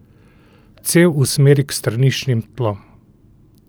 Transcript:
Cev usmeri k straniščnim tlom.